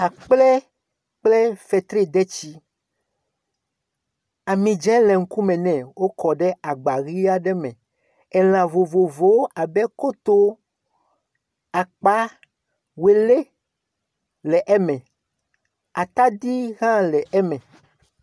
Akplẽ kple fetridetsi, ami dzẽ le ŋkume nɛ wokɔ ɖe agba ʋi aɖe me. Elã vovovowo abe koto, akpa, wolɛ le eme. Atadi hã le eme.